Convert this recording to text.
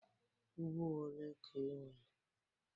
Ugbo ole ka i nwere?